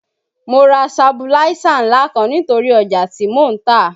Mo ra sabuláísà ńlá kan nítorí ọjà tí mò ń tà